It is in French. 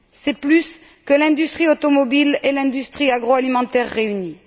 C'est plus que l'industrie automobile et l'industrie agroalimentaire réunies.